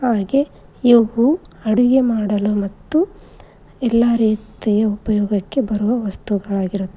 ಹಾಗೆ ಇವು ಅಡುಗೆ ಮಾಡಲು ಮತ್ತು ಎಲ್ಲಾ ರೀತಿಯ ಉಪಯೋಗಕ್ಕೆ ಬರುವ ವಸ್ತುಗಲಾಗಿರು--